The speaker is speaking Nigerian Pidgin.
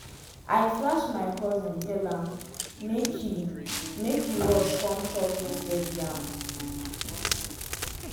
i flash my cousin tell am make he make he rush come chop roasted yam.